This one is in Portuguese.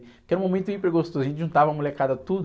Porque era um momento hiper gostoso, a gente juntava a molecada tudo.